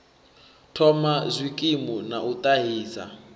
thoma zwikimu na u ṱahisa